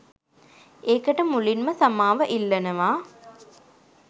ඒකට මුලින්ම සමාව ඉල්ලනවා